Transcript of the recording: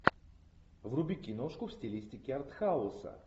вруби киношку в стилистике артхауса